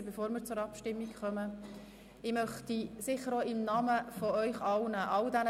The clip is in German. Deshalb möchte ich die Sitzung an dieser Stelle schliessen, bevor wir zur Abstimmung gelangen.